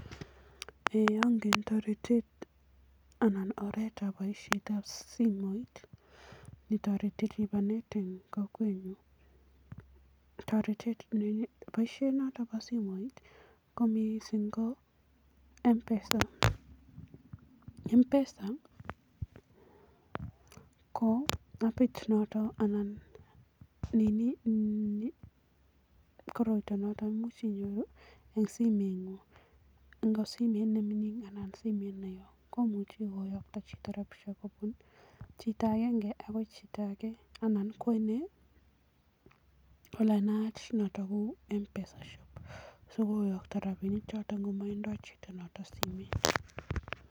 Eeeh angen toretet anan oretab boisietab simoit netoreti lipanet eng kokwenyun, toretet boisiet noto bo simoit ko mising ko Mpesa. Mpesa ko appit noto, koroito noto komuch inyoru eng simengung eng nemining anan simet neo komuchi koyokto chito rapinishek kobun chito agenge akoi chito ake anan kwo inee ole naat ko Mpesa shop sikoyokto rapinik choto ngomatindoi chito noto simoit.